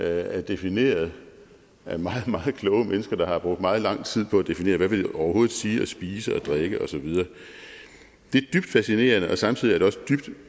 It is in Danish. er defineret af meget meget kloge mennesker der har brugt meget lang tid på at definere hvad det overhovedet vil sige at spise og drikke og så videre det er dybt fascinerende og samtidig er det også dybt